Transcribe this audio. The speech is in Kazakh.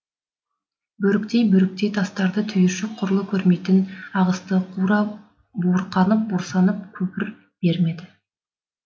бөріктей бөріктей тастарды түйіршік құрлы көрмейтін ағысты кура буырқанып бұрсанып көпір бермеді